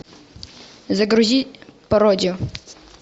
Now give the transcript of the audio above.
загрузи пародию